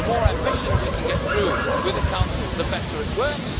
The more ambition we can get through with the Council, the better it works.